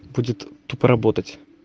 будет тупо работать